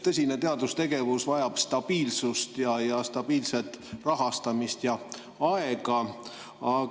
Tõsine teadustegevus vajab stabiilsust ja stabiilset rahastamist ja aega.